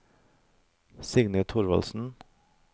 Signy Thorvaldsen